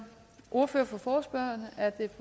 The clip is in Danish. ordfører for forespørgerne er det